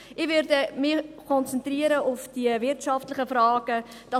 Ich werde mich auf die wirtschaftlichen Fragen konzentrieren.